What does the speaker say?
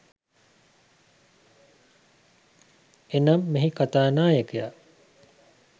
එනම්, මෙහි කතා නායකයා